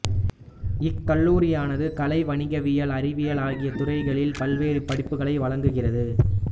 இக்கல்லூரியானது கலை வணிகவியல் அறிவியல் ஆகிய துறைகளில் பல்வேறு படிப்புகளை வழங்குகிறது